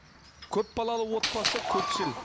көпбалалы отбасы көпшіл